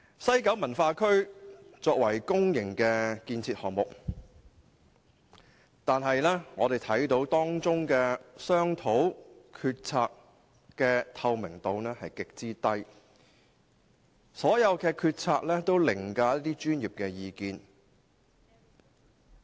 西九文化區是一項公營建設項目，唯我們看見當中商討及決策的透明度極低，所有決策均凌駕於專業意見。